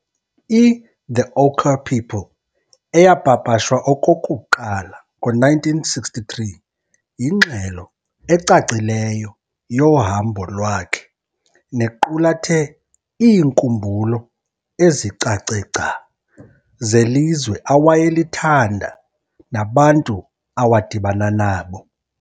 i'The Ochre People' eyapapashwa okokuqala ngo-1963 yingxelo ecacileyo yohambo lwakhe nequlathe iinkumbulo ezicace gca zelizwe awayelithanda nabantu awadibana nabo.